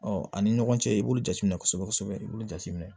Ɔ ani ɲɔgɔn cɛ i b'olu jateminɛ kosɛbɛ kosɛbɛ i b'olu jateminɛ